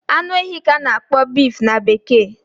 Anu ehi ka a na-akpọ beef na bekee